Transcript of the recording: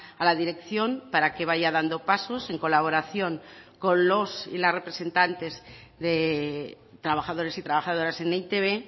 a la dirección para que vaya dando pasos en colaboración con los y las representantes de trabajadores y trabajadoras en e i te be